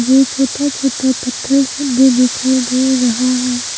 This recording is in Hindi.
ये छोटा छोटा पत्थर सब भी दिखाई दे रहा है।